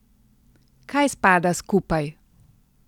Kaj spada skupaj?